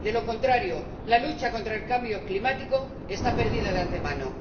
De lo contrario, la lucha contra el cambio climático está perdida de antemano.